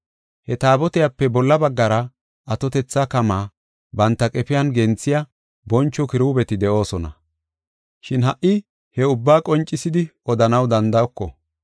He Taabotiyape bolla baggara atotetha kamaa banta qefiyan genthiya boncho kiruubeti de7oosona. Shin ha77i he ubbaa qoncisidi odanaw danda7oko.